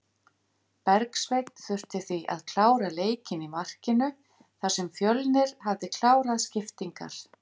Bergsveinn þurfti því að klára leikinn í markinu þar sem Fjölnir hafði klárað skiptingar.